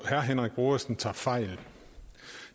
herre henrik brodersen tager fejl